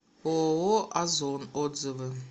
ооо озон отзывы